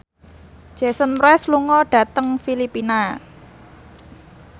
Jason Mraz lunga dhateng Filipina